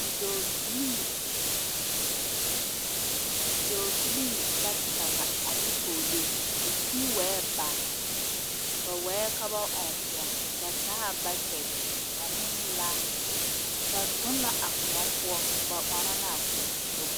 Bidɔɔbilee bata ane pɔglee la sige wa baa ka ba ɔŋ kuɔ. Ba taala bakɛte ane laa. Ba de la a bakɛtere ane a laa tuŋ a kuɔ pʋɔ ɔŋnɔ